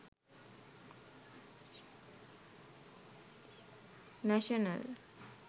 national